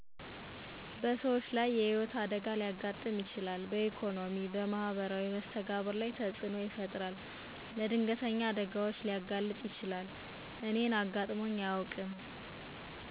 በሰዎች ላይ የህይወት አደጋ ሊያጋጥም ይችላል በኢኮኖሚ በማህበራዊ መስተጋብር ላይ ተፅዕኖ ይፈጥራል። ለድንገተኛ አደጋዎች ሊያጋልጥ ይችላል። አጋጥሞኝ አያውቅም